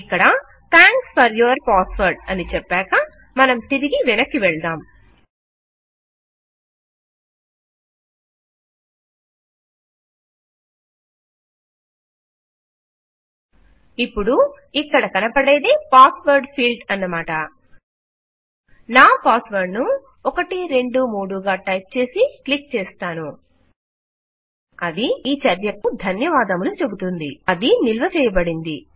ఇక్కడ thanks for your passwordఅని చెప్పాక మనం తిరిగి వెనక్కి వెళ్దాం ఇపుడు ఇక్కడ కనపడేదే పాస్ వర్డ్ ఫీల్డ్ అన్నమాట నా పాస్ వర్డ్ ను 123 గా టైప్ చేసి క్లిక్ చేస్తాను అది ఈ చర్యకు ధన్యవాదములు చెబుతుంది అది నిల్వ చేయబడింది